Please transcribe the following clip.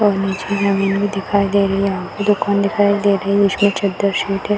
और नीचे जमीन भी दिखाई दे रही है और यहाँ पे दुकानें दिखाई दे रही हैं। उसमें चद्दर शीट है।